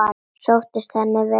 Sóttist henni vel ferðin.